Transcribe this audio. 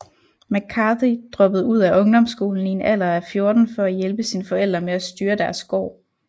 McCarthy droppede ud af ungdomsskolen i en alder af 14 for at hjælpe sine forældre med at styre deres gård